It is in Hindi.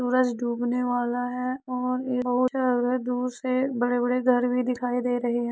सूरज डूबने वाला है और दूर से बड़े-बड़े घर भी दिखाई दे रहे हैं।